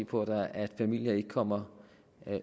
på at familier ikke kommer